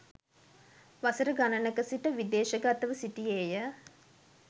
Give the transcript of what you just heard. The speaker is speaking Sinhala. වසර ගණනක සිට විදේශගතව සිටියේය.